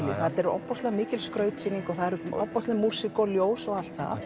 þetta er ofboðslega mikil skrautsýning og það er ofboðsleg músík og ljós og allt það